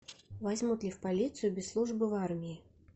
возьмут ли в полицию без службы в армии